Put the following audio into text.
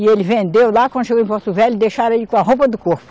E ele vendeu lá, quando chegou em Porto Velho, deixaram ele com a roupa do corpo.